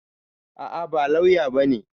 A'a, ba lauya bane.